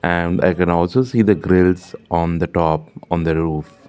and i can also see the grills on the top on the roof.